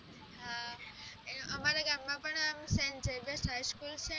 હા અમારા ગામ માં પણ સૅન્ટ ઝેવિઅર્સ highschol છેને